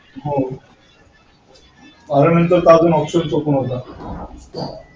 हो बारावीनंतर तर अजून option नव्हता.